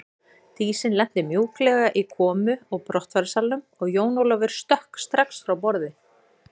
Dísin lenti mjúklega í komu og brottfararsalnum og Jón Ólafur stökk strax frá borði.